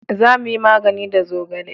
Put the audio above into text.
za mu yi magani da zogale